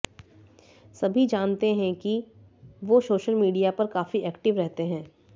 सभी जानते हैं कि वो सोशल मीडिया पर काफी एक्टिव रहते हैँ